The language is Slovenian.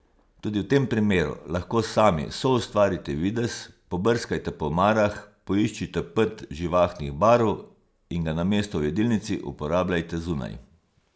Tudi v tem primeru lahko sami soustvarite videz, pobrskajte po omarah, poiščite prt živahnih barv in ga namesto v jedilnici uporabljajte zunaj.